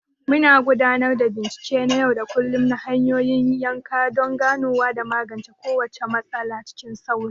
Muna gudanar da bincike na yau da kullum na hanyoyin yanka don ganowa da magance kowace matsala cikin sauri.